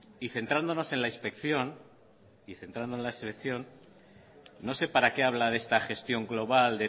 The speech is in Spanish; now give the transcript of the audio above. y centrándonos en la inspección y no se para que habla de la gestión global